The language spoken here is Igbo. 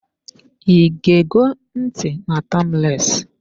I ge go ntị na "Timeless"